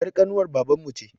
Er ƙanuwar baban mu ce